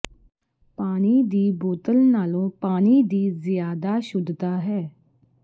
ਪਾਣੀ ਦੀ ਬੋਤਲ ਨਾਲੋਂ ਪਾਣੀ ਦੀ ਜ਼ਿਆਦਾ ਸ਼ੁੱਧਤਾ ਹੈ